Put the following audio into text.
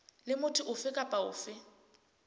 le motho ofe kapa ofe